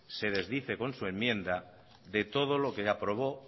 se desdice con su enmienda de todo lo que aprobó